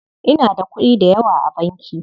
Inada kuɗi dayawa a banki.